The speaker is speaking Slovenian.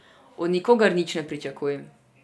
Od nikogar nič ne pričakuj.